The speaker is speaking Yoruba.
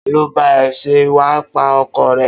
Ta ló bá ẹ ṣe wáípà ọkọ̀ rẹ?